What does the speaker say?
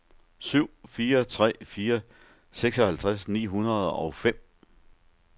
syv fire tre fire seksoghalvtreds ni hundrede og fem